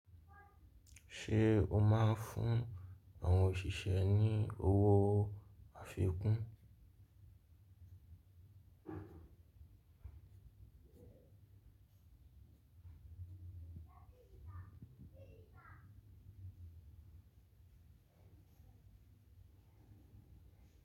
Ṣé o máa ń fún àwọn òṣìṣẹ́ ní owó àfikún?